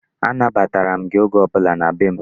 Anabatara m gị oge ọbụla na be m.